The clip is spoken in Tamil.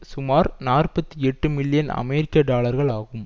சுமார் நாற்பத்தி எட்டு மில்லியன் அமெரிக்க டாலர்கள் ஆகும்